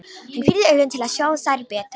Hann pírði augun til að sjá þær betur.